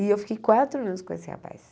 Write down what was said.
E eu fiquei quatro anos com esse rapaz.